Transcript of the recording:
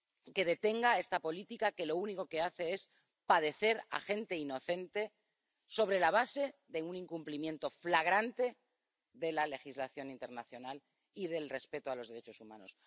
Que detenga esta política que hace padecer a gente inocente, sobre la base de un incumplimiento flagrante de la legislación internacional y del respeto a los derechos humanos.